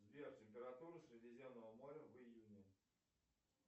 сбер температура средиземного моря в июне